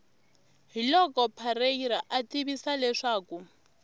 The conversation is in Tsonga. hiloko parreira a tivisa leswaku